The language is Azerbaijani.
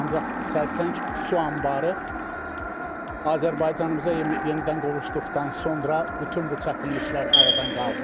Ancaq Sərsəng su anbarı Azərbaycanımıza yenidən qovuşduqdan sonra bütün bu çətinliklər aradan qalxıb.